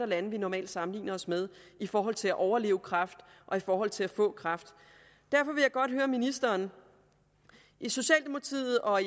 lande vi normalt sammenligner os med i forhold til at overleve kræft og i forhold til at få kræft derfor vil jeg godt høre ministeren i socialdemokratiet og